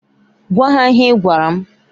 Gwa ha ihe ị gwara m!